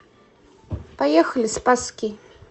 поехали спасский